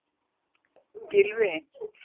Gylfi